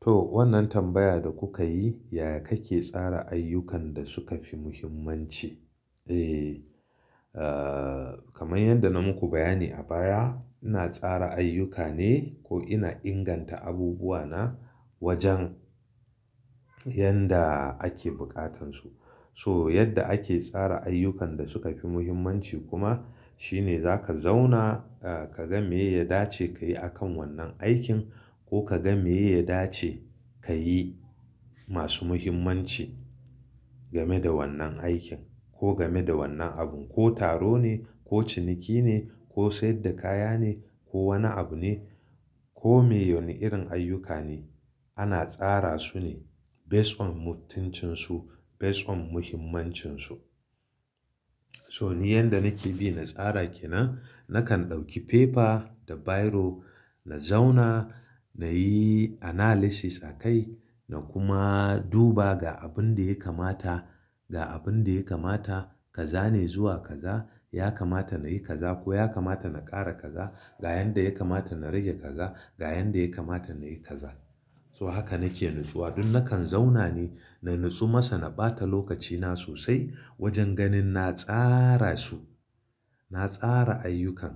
To, wannan tambaya da kuka yi, yaya kake tsara ayyukan da suka fi mahimmanci? Eh, a kaman yadda na muku bayani a baya, ina tsara ayyuka ne ko ina inganta abubuwa na wajen, yanda ake buƙatansu. So, yadda ake tsara ayyukan da suka fi muhimmanci kuma, shine za ka zauna a ka ga me ya dace ka yi a kan wannan aikin ko ka ga me ya dace ka yi masu muhimmanci game da wannan aikin ko game da wannan abun. Ko taro ne ko ciniki ne ko saida kaya ne ko wani abu ne ko me wani irin ayyuka ne. Ana tsara su ne best on mutuncin su best on muhimmancin su. To ni yanda nake bi na tsara ke nan, nakan dauki paper da biro, na zauna, na yi analysis a kai na kuma duba ga abun da ya kamata, ga abun da ya kamata kaza ne zuwa kaza. Ya kamata na yi kaza ko ya kamata na ƙara kaza. Ga yanda ya kamata na rage kaza. Ga yanda ya kamata na yi kaza. So haka nake natsuwa. Duk nakan zauna ne na natsu masa na ɓata lokacina sosai wajen ganin na tsara su. Na tsara ayyukan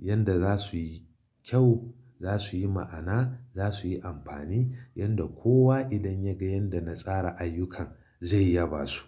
yanda za suyi kyau, za suyi ma'ana, za suyi amfani. Yanda kowa idan ya ga yanda na tsara ayyukan zai yaba su.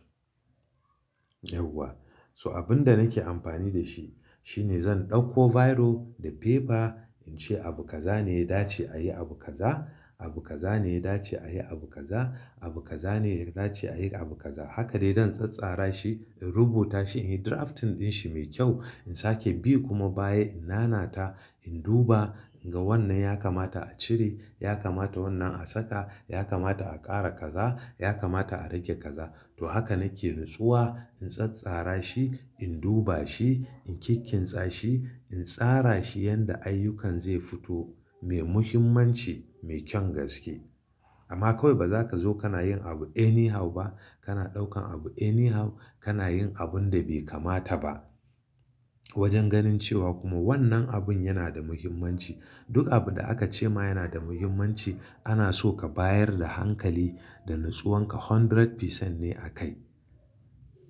Yauwa. So abin da nake amfani da shi shine zan ɗauko biro da paper in ce abu kaza ne ya dace a yi abu kaza, abu kaza ne ya dace a yi abu kaza, abu kaza ne ya dace a yi abu kaza. Haka dai zan tsattsara shi in rubuta shi, in yi draft ɗin shi mai kyau in sake bi kuma baya in nana ta. In duba inga wannan ya kamata a cire, ya kamata wannan a saka, ya kamata a ƙara kaza, ya kamata a rage kaza. To haka nake natsuwa, in tsattsara shi, in duba shi, in kikkinsa shi, in tsara shi yanda ayyukan zai fito mai muhimmanci, mai kyan gaske. Amma kawai ba za ka zo kana yin abu any how ba. Kana ɗaukan abu any how, kana yin abun da bai kamata ba. Wajen ganin cewa kuma wannan abun yana da muhimmanci. Duk abu da aka ce ma yana da muhimmanci. Ana so ka bayar da hankali da natsuwan ka kashi ɗari cikin ɗari ne a kai.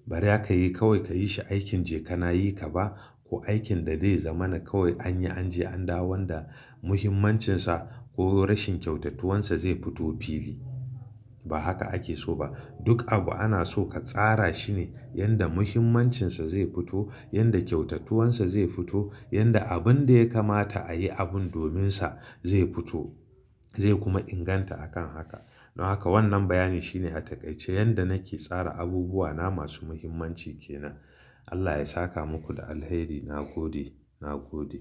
Bara ka yi kawai ka yi shi aikin je ka na yi ka ba, ko aikin da zai zama na kawai an yi an je an dawo wanda muhimmancinsa ko rashin kyautattuwan sa zai fito fili. Ba haka ake so ba. Duk abu ana so ka tsara shi ne yanda muhimmancin sa zai fito, yanda kyautattuwan sa zai fito, yanda abun da ya kamata a yi abun domin sa zai fito, zai kuma inganta a kan haka. Don haka wannan bayani shine a takaice yanda nake tsara abubuwa na masu muhimmanci ke nan. Allah ya saka muku da alheri. Na gode, na gode.